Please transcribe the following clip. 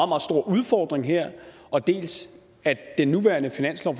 meget stor udfordring her og dels at den nuværende finanslov